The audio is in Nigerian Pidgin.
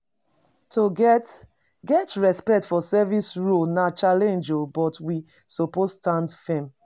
To get get respect for service roles na challenge, but we suppose stand firm.